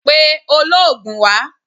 Pe oloogun wá!